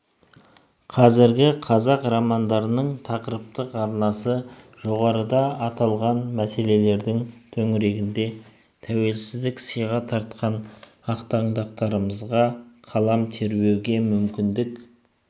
қазіргі қазақ романдарының тақырыптық арнасы жоғарыда аталған мәселелердің төңірегінде тәуелсіздік сыйға тартқан ақтаңдақтарымызға қалам тербеуге мүмкіндік